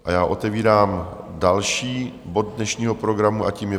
A já otevírám další bod dnešního programu a tím je